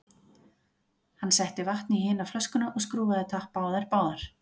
Hann setti vatn í hina flöskuna og skrúfaði tappa á þær báðar.